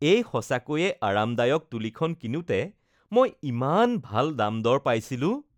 এই সঁচাকৈয়ে আৰামদায়ক তুলীখন কিনোতে মই ইমান ভাল দাম-দৰ পাইছিলোঁ